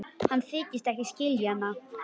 Hann þykist ekki skilja hana.